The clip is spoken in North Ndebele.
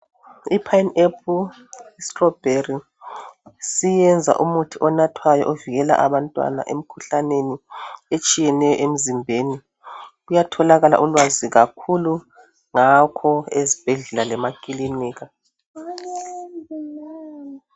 Iphayini aphulu sitolobheli siyenza umuthi onathwayo ovikela abantwana emkhuhlaneni etshiyeneyo emzimbeni. Kuyatholakala ulwazi kakhulu ngakho ezibhedlela lemakilinika.